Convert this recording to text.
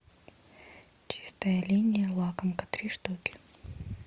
чистая линия лакомка три штуки